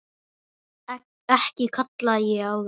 Ekki kalla ég það.